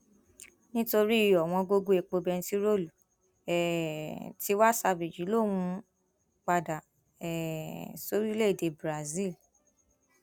nítorí ọwọngọgọ epo bẹntiróòlù um tiwa savage lòún ń padà um sóríléèdè brazil